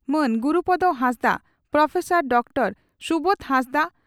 ᱢᱟᱱ Gurupada Hansdak professor Dr Subodh ᱦᱟᱸᱥᱫᱟᱜ